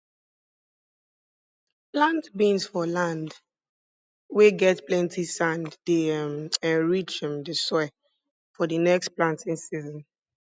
plant beans for land weh get plenti sand dey um enrich um di soil for di next planting season